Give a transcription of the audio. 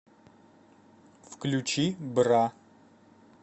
включи бра